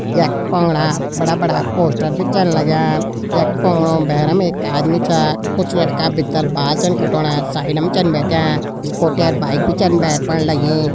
यख पुंगड़ा बड़ा बड़ा पोस्टर भी छन लग्यां यख पुंगड़ू भैरम एक आदमी छा कुछ लड़का भितर बाल छन काटोणा साइडम छन बैठ्यां स्कूटी अर बाइक भी छन भैर फण लगीं।